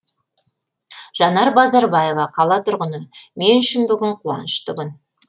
жанар базарбаева қала тұрғыны мен үшін бүгін қуанышты күн